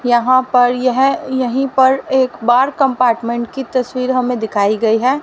यहां पर यह यहीं पर एक बार कंपार्टमेंट की तस्वीर हमें दिखाई गई है।